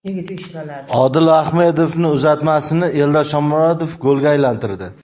Odil Ahmedovning uzatmasini Eldor Shomurodov golga aylantirdi.